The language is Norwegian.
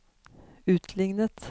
utlignet